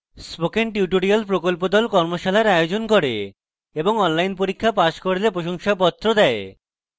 spoken tutorial প্রকল্প the কর্মশালার আয়োজন করে এবং online পরীক্ষা pass করলে প্রশংসাপত্র দেয়